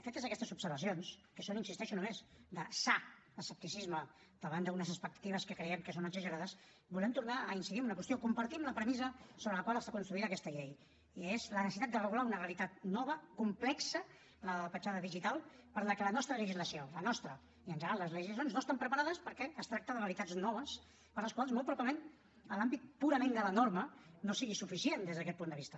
fetes aquestes observacions que són hi insisteixo només de sa escepticisme davant d’unes expectatives que creiem que són exagerades volem tornar a incidir en una qüestió compartim la premissa sobre la qual està construïda aquesta llei i és la necessitat de regular una realitat nova complexa la de la petjada digital per a la que la nostra legislació la nostra i en general les legislacions no estan preparades perquè es tracta de realitats noves per a les quals molt probablement l’àmbit purament de la norma no sigui suficient des d’aquest punt de vista